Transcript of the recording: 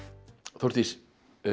Þórdís